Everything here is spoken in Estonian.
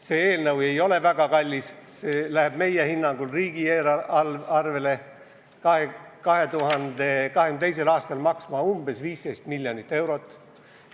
See ei läheks väga kalliks maksma, see võtaks meie hinnangul riigieelarvest 2022. aastal umbes 15 miljonit eurot.